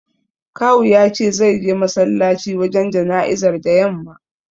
Kawu ya ce zai je masallaci wajen jana'izar da yamma.